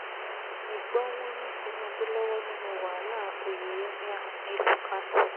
ẹ gbọ́ wọn ní tinubu lọ́wọ́ nínú wàhálà oyè emir nílùú kánò